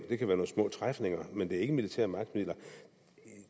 det kan være nogle små træfninger men det er ikke militære magtmidler